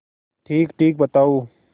ठीकठीक बताओ